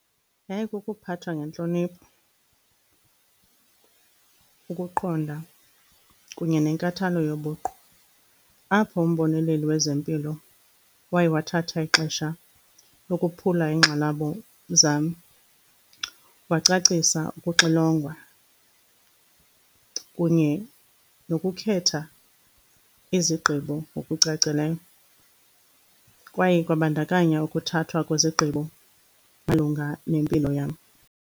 Yayikukuphathwa ngentlonipho, ukuqonda kunye nenkathalo yobuqu apho umboneleli wezempilo waye wathatha ixesha lokophula iingxalabo zam, wacacisa ukuxilongwa kunye nokukhetha izigqibo ngokucacileyo, kwaye kwabandakanya ukuthathwa kwezigqibo malunga nempilo yam.